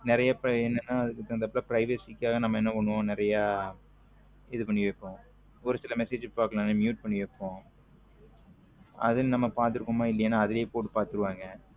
நறிய பேரு என்ன ந அதுக்கு தகுந்தபா privacy காக என்ன பண்ணுவோம் நறிய இது பண்ணி வைப்போம் ஒரு சில message பாக்கலேன்னா mute பண்ணி வைப்போம் அது நம்ம பாதுருகோம இல்லையனு அதுவே போட்டு பாதுருவங்க